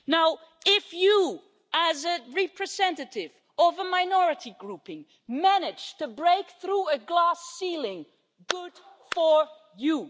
Now, if you, as a representative of a minority grouping, manage to break through a glass ceiling, good for you.